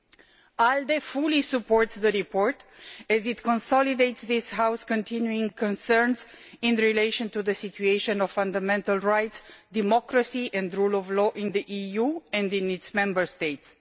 The ALDE Group fully supports the report, as it consolidates this House's continuing concerns in relation to the situation of fundamental rights, democracy and the rule of law in the EU and in its Member States.